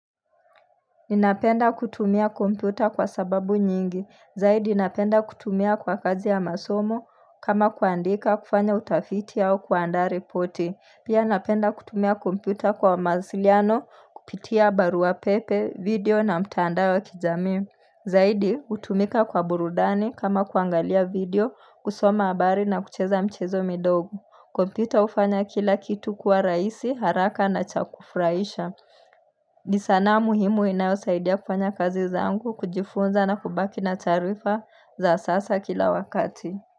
Ninapenda kutumia kompyuta kwa sababu nyingi, zaidi napenda kutumia kwa kazi ya masomo kama kuandika kufanya utafiti au kuandaa ripoti, pia napenda kutumia kompyuta kwa mawasiliano kupitia barua pepe, video na mtandao wa kijamii. Zaidi hutumika kwa burudani kama kuangalia video, kusoma habari na kucheza michezo midogo, kompyuta hufanya kila kitu kwa rahisi haraka na cha kufurahisha. Ni sanaa muhimu inayosaidia kufanya kazi zangu kujifunza na kubaki na taarifa za sasa kila wakati.